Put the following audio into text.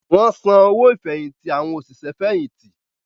Wọ́n San owó ìfẹ̀yìntì àwọn òṣìṣẹ́ fẹ̀yìntì